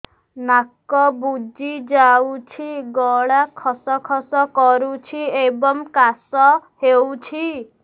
ନାକ ବୁଜି ଯାଉଛି ଗଳା ଖସ ଖସ କରୁଛି ଏବଂ କାଶ ହେଉଛି